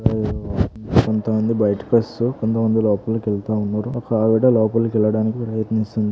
కొంతమంది బయటికి వస్తూ కొంత మంది లోపలికి వెళ్తూ ఉన్నారు. ఒక ఆవిడ లోపపలికి వెళ్ళడానికి ప్రయత్నిస్తుంది.